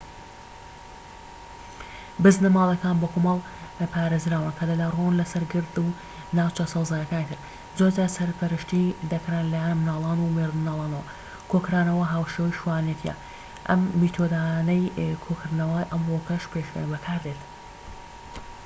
بزنە ماڵیەکان بە کۆمەڵ پارێزراون کە دەلەوەڕان لەسەر گرد و ناوچە سەوزاییەکانی تر زۆرجار سەرپەرشتی دەکران لەلایەن منداڵان و مێردمنداڵانەوە کۆکردنەوە هاوشێوەی شوانێتیە ئەم میتۆدانەی کۆکردنەوە ئەمڕۆکەش بەکاردێت